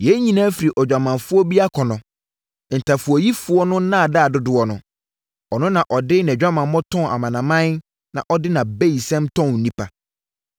Yei nyinaa firi odwamanfoɔ bi akɔnnɔ, ntafowayifoɔ no nnaadaa dodoɔ no. Ɔno na ɔde nʼadwamammɔ tɔn amanaman na ɔde nʼabayisɛm tɔn nnipa.